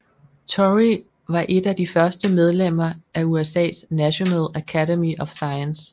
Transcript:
Torrey var et af de første medlemmer af USAs National Academy of Science